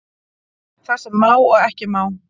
Það sem má og ekki má